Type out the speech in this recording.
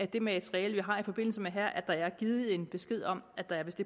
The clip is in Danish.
det materiale vi har i forbindelse med det her at der er givet en besked om at der vist